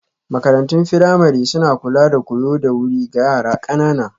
Makarantun firamare suna kula da koyo da wuri ga yara ƙanana